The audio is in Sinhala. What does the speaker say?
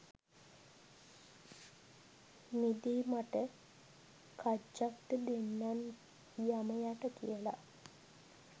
මිදී මට කජ්ජක්ද දෙන්නන් යමයට කියල